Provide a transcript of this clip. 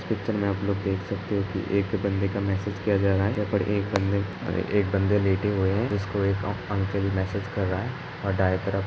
Picture में आप लोग देख सकते हो कि एक बंदे का मैंसेज किया जा रहा है। यहाँं पर एक बंदे अरे एक बंदे लेटे हुए है। उसको एक ऑक अंकल मैंसेज कर रहा है और दाएँ तरफ --